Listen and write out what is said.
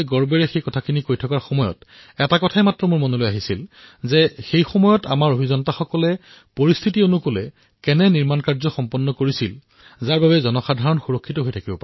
তেতিয়াই মোৰ মনলৈ এক বিচাৰ আহিল যে শতিকা পূৰ্বেও আমাৰ সেই সময়ৰ ইঞ্জিনীয়াৰসকলে স্থানীয় পৰিস্থিতি অনুসৰি এনেধৰণৰ সৃষ্টি কৰ্ম কৰিছিল যে জনসাধাৰণ সুৰক্ষিত হৈ আছিল